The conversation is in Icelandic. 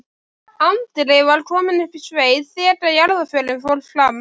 Andri var kominn upp í sveit þegar jarðarförin fór fram.